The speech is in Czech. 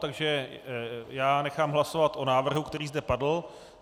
Takže já nechám hlasovat o návrhu, který zde padl.